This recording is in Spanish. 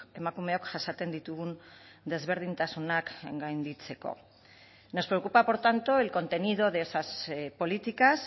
emakumeok jasaten ditugun desberdintasunak gainditzeko nos preocupa por tanto el contenido de esas políticas